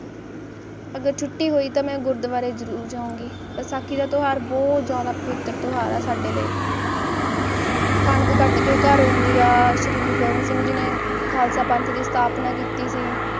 ਅਗਰ ਟੁੱਟੀ ਹੋਈ ਤਾਂ ਮੈਂ ਗੁਰਦਵਾਰੇ ਜਰੂਰੀ ਜਾਉਗੀ ਕਣਕ ਘੱਟ ਕੇ ਘਰੋਂ ਦੀਆ ਸ੍ਰੀ ਗੁਰੂ ਗੋਬਿੰਦ ਸਿੰਘ ਜੀ ਨੇ ਖਾਲਸਾ ਪੰਥ ਦੀ ਸਥਾਪਨਾ ਕੀਤੀ ਸੀ